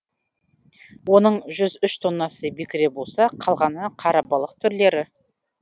оның жүз үш тоннасы бекіре болса қалғаны қарабалық түрлері